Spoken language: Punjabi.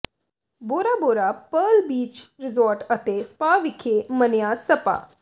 ਬੋਰਾ ਬੋਰਾ ਪਰਲ ਬੀਚ ਰਿਜੌਰਟ ਅਤੇ ਸਪਾ ਵਿਖੇ ਮਨੀਆ ਸਪਾ